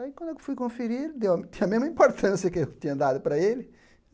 Aí quando eu fui conferir, deu a mesma importância que eu tinha dado para ele.